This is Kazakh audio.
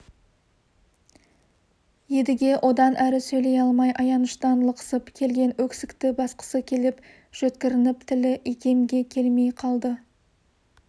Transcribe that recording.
едіге одан әрі сөйлей алмай аяныштан лықсып келген өксікті басқысы келіп жөткірініп тілі икемге келмей қалды